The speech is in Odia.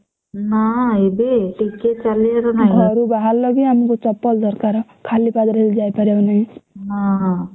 ନା ଏବେ ଟିକେ ଚାଲିଲେ ତ ନାଇଁ ନା।